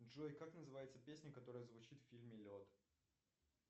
джой как называется песня которая звучит в фильме лед